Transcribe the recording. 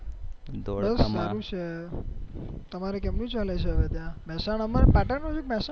ધોળકામાં બસ સારું છે તમારે કેમનું ચાલે છે ત્યાં મેહસાણા માં કે પાટણ માં